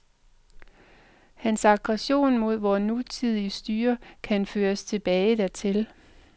Hans aggression mod vort nutidige styre kan føres tilbage dertil.